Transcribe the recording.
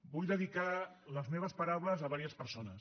vull dedicar les meves paraules a diverses persones